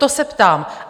To se ptám.